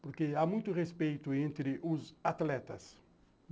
porque há muito respeito entre os atletas.